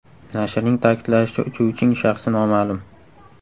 Nashrning ta’kidlashicha, uchuvching shaxsi noma’lum.